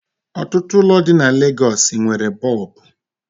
Otutu ụlọ di na Lagosi nwere Boobu